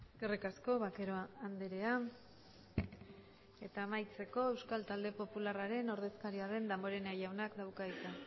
eskerrik asko vaquero andrea eta amaitzeko euskal talde popularraren ordezkaria den damborenea jaunak dauka hitza